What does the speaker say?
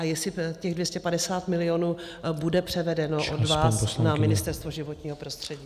A jestli těch 250 milionů bude převedeno od vás na Ministerstvo životního prostředí.